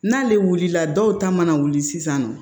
N'ale wulila dɔw ta mana wuli sisan nɔ